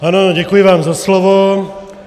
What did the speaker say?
Ano, děkuji vám za slovo.